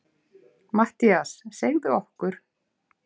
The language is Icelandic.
MATTHÍAS: Segðu okkur.